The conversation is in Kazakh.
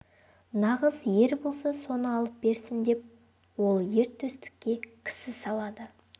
нағыз ер болса соны алып берсін деп ол ер төстікке кісі салады